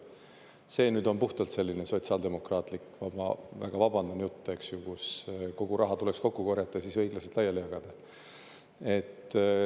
See on puhtalt selline sotsiaaldemokraatlik, ma väga vabandan, jutt, kus kogu raha tuleks kokku korjata ja siis õiglaselt laiali jagada.